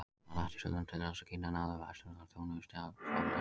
Allt var lagt í sölurnar til þess að Kína næði vestrænum þjóðum í stálframleiðslu.